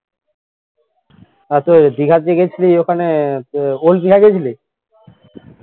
আর তোর ওই দিঘা যে গেছিলি ওখানে তো old দিঘা গেইছিলি